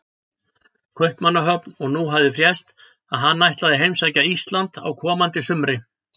Kaupmannahöfn, og nú hafði frést að hann ætlaði að heimsækja Ísland á komandi sumri.